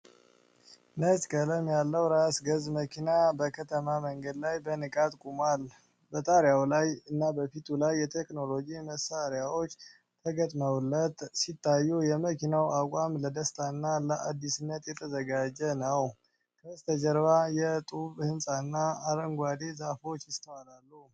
ነጭ ቀለም ያለው ራስ ገዝ መኪና በከተማ መንገድ ላይ በንቃት ቆሟል። በጣሪያው ላይ እና በፊቱ ላይ የቴክኖሎጂ መሳሪያዎች ተገጥመውለት ሲታዩ፤ የመኪናው አቋም ለደስታና ለአዲስነት የተዘጋጀ ነው። ከበስተጀርባ የጡብ ሕንፃና አረንጓዴ ዛፎች ይስተዋላሉ።